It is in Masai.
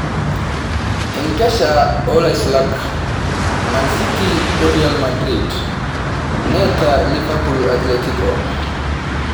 enkesha oo Laisulak: Mancity o Real Madrid neeta Liverpool Athletico